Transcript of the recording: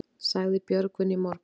Sagði Björgvin í morgun.